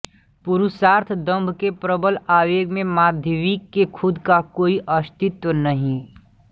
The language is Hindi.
पुरुषार्थ दंभ के प्रबल आवेग में माध्वी के खुद का कोई अस्तित्व नहीं